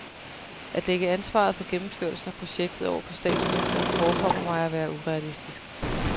At lægge ansvaret for gennemførelsen af projektet over på statsministeren forekommer mig at være urealistisk.